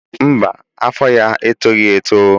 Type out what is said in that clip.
Mba, afọ ya etoghị eto.